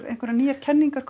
einhverjar nýjar kenningar